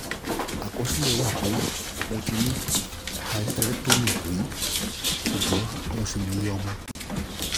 àkọsílẹ̀ wá pé mo ti ní hysterectomy rí ṣùgbọ́n mo ṣì ní ilé-ọmọ